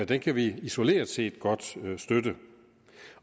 den kan vi isoleret set godt støtte